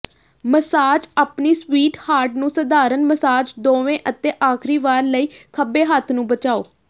massage ਆਪਣੀ sweetheart ਨੂੰ ਸਧਾਰਣ ਮਸਾਜ ਦੇਵੋ ਅਤੇ ਆਖਰੀ ਵਾਰ ਲਈ ਖੱਬੇ ਹੱਥ ਨੂੰ ਬਚਾਓ